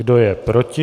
Kdo je proti?